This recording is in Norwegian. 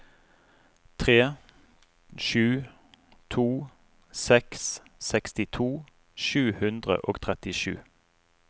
tre sju to seks sekstito sju hundre og trettisju